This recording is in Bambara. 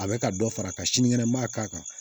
A bɛ ka dɔ fara ka sini kɛnɛma k'a kan